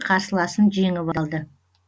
қарсыласын жеңіп алды